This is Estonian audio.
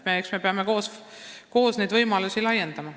Eks me peame koos neid võimalusi laiendama.